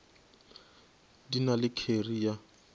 di na le kheri ye